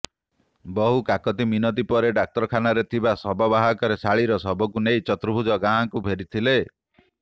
ବହୁ କାକୁତି ମିନତି ପରେ ଡାକ୍ତରଖାନାରେ ଥିବା ଶବବାହକରେ ଶାଳୀର ଶବକୁ ନେଇ ଚର୍ତୁଭୁଜ ଗାଁକୁ ଫେରିଥିଲେ